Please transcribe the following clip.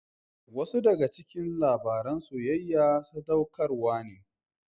Wasu daga cikin labaran soyayya sadaukarwa ne.